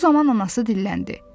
Bu zaman anası dilləndi.